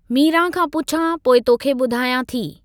मीरा खां पुछां , पोइ तोखे बु॒धायां थी।